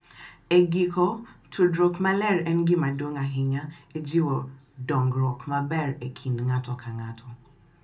E giko, tudruok maler en gima duong’ ahinya e jiwo dongruok maber e kind ng’ato ka ng’ato,